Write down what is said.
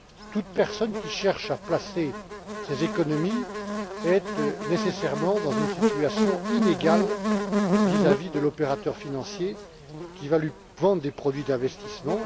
Toute personne qui cherche à placer ses économies est nécessairement dans une situation inégale vis à vis de l'opérateur financier qui va lui vendre des produits d'investissement.